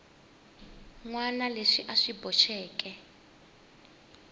wana leswi a swi boxeke